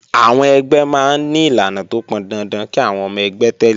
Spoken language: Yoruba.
Àwọn ẹgbẹ́ máa ń ní ìlànà tó pọn dandan kí àwọn ọmọ ẹgbẹ́ tẹ̀lé